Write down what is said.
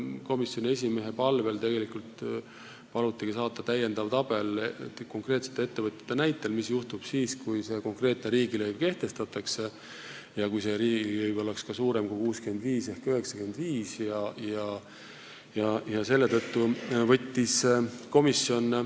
Komisjoni esimees palus saata täiendava tabeli konkreetsete ettevõtete näitel, mis juhtub siis, kui see riigilõiv kehtestatakse ja kui see oleks ka suurem kui 65 eurot ehk 95 eurot.